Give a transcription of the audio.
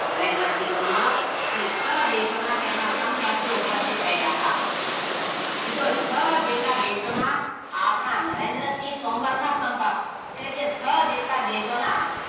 નરેન્દ્વ શ્રી તોમર અને છ દેશોના તેમના સમકશો ઉપસ્થિત રહ્યા હતા મિત્રો છ જેટલા દેશોના આપણા નરેન્દ્વ શ્રી તોમરના સમકક્ષ એટલે કે છ જેટલા દેશોના